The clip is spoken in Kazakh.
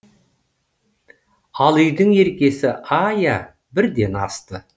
ал үйдің еркесі айя бірден асты